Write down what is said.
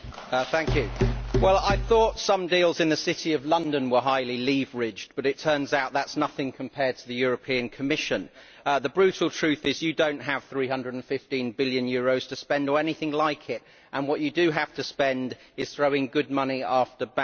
Mr President, I thought that some deals in the City of London were highly leveraged, but it turns out that is nothing compared to the European Commission. The brutal truth is you do not have 315 billion euros to spend, or anything like it, and what you do have to spend means throwing good money after bad.